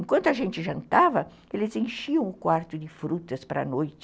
Enquanto a gente jantava, eles enchiam o quarto de frutas para a noite.